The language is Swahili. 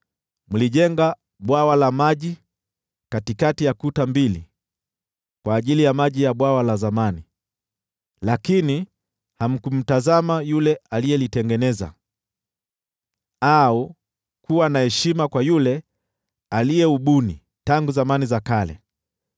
Mlijenga bwawa la maji katikati ya kuta mbili kwa ajili ya maji ya Bwawa la Zamani, lakini hamkumtazama Yule aliyelitengeneza, au kuwa na heshima kwa Yule aliyeubuni tangu zamani za kale.